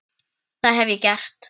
Það hef ég gert.